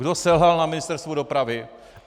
Kdo selhal na Ministerstvu dopravy?